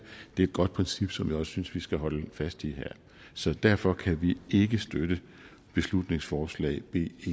det er et godt princip som jeg også synes vi skal holde fast i her så derfor kan vi ikke støtte beslutningsforslag b